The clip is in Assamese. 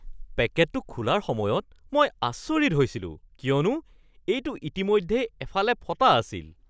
পেকেটটো খোলাৰ সময়ত মই আচৰিত হৈছিলো কিয়নো এইটো ইতিমধ্যেই এফালে ফটা আছিল।